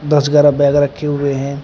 दस ग्यारा बैग रखे हुए हैं।